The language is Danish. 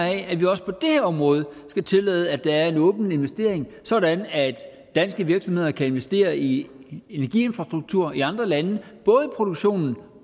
af at vi også på det her område skal tillade at der er en åben investering sådan at danske virksomheder kan investere i energiinfrastruktur i andre lande både i produktionen